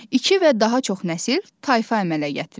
İki və daha çox nəsil tayfa əmələ gətirir.